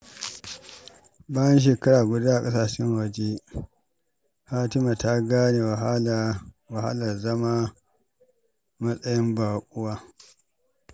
Bayan shekara guda a ƙasashen waje, Fatima ta gane wahalar zama a matsayin baƙuwa.